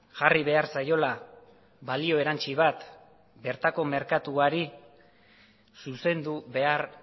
jarri behar zaiola balio erantsi bat bertako merkatuari zuzendu behar